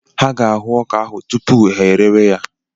Ha ga-ahụ ọka ahụ tupu ha erewe ya.